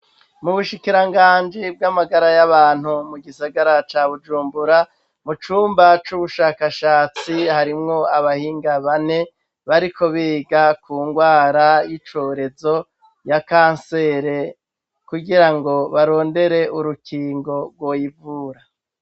Mubushikiranganji bw'amagara y'abantu mu gisagara ca bujumbura mu cumba c'ubushakashatsi harimwo abahinga bane bariko biga ku ngwara y'icorezo ya kansere kugira ngo barondere urukingo rwoyivura.